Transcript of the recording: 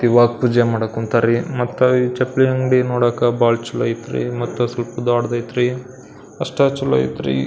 ಈವಾಗ್ ಪೂಜೆ ಮಾಡೋಕ್ ಹೊಂಥಾರಿ ಮತ್ತ್ ಚಪ್ಪಲಿ ಅಂಗಡಿ ನೋಡಾಕ ಬಹಳ ಚಲೋ ಅಯ್ತ್ರಿಮತ್ತ ಸ್ವಲ್ಪ ದೊಡ್ದದೈತ್ರಿ ಅಷ್ಟ ಚಲೋ ಅಯ್ತ್ರಿ-